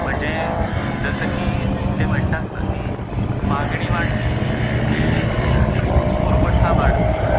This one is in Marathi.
म्हणजे जसं कि ते म्हणतात ना, कि मागणी वाढली कि पुरवठा वाढतो.